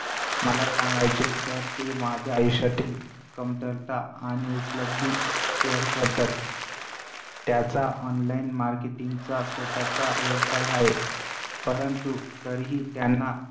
मला सांगायचे तर ते माझ्या आयुष्यातील कमतरता आणि उपलब्धी share करतात. त्याचा online marketing चा स्वतःचा व्यवसाय आहे. परंतु तरीही त्यांना